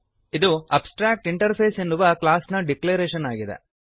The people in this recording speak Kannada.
ಇದು ಅಬ್ಸ್ಟ್ರಾಕ್ಟಿಂಟರ್ಫೇಸ್ ಎನ್ನುವ ಕ್ಲಾಸ್ ನ ಡಿಕ್ಲರೇಶನ್ ಆಗಿದೆ